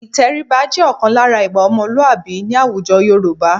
Ìtẹríba jẹ́ ọ̀kan lára ìwà ọmọlúàbí ní àwùjọ Yorùbá